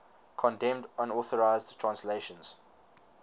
condemned unauthorized translations